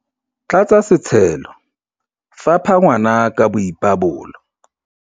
tlatsa setshelo, fapha ngwana ka boipabolo